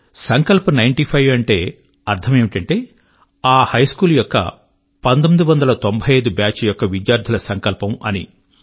Sankalp ninety five యొక్క అర్థము ఆ హైస్కూల్ యొక్క 1995 nineteen ninety five batch యొక్క విద్యార్థుల సంకల్పము అని